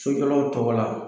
Sojɔlaw tɔgɔ la